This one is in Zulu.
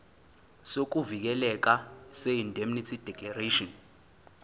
sokuvikeleka seindemnity declaration